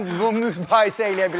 Yox, mən bu payı sə eləyə bilərəm.